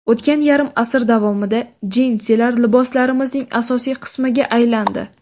O‘tgan yarim asr davomida jinsilar liboslarimizning asosiy qismiga aylandi.